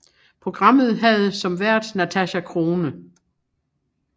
Programmet havde som vært Natasja Crone